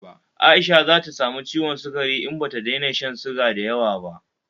Aisha zata samu ciwon sukari in bata daina shan suga dayawa ba